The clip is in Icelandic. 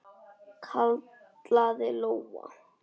kallaði Lóa.